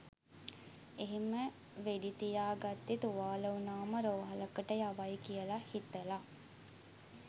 එහෙම වෙඩි තියා ගත්තේ තුවාල වුණාම රෝහලකට යවයි කියලා හිතලා.